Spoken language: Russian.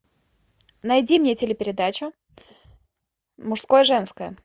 найди мне телепередачу мужское женское